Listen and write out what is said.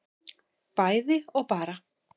bæði og bara